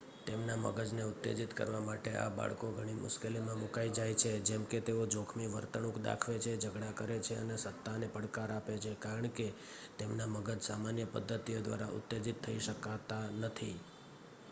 "તેમના મગજને ઉત્તેજીત કરવા માટે આ બાળકો ઘણી મુશ્કેલીમાં મુકાઈ જાય છે જેમકે તેઓ "જોખમી વર્તણૂંક દાખવે છે ઝઘડા કરે છે અને સત્તાને પડકાર આપે છે" કારણ કે તેમના મગજ સામાન્ય પદ્ધતિઓ દ્વારા ઉત્તેજિત થઈ શકાતા નથી.